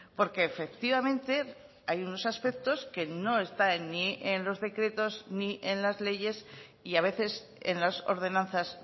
porque efectivamente hay unos aspectos que no están ni en los decretos ni en las leyes y a veces en las ordenanzas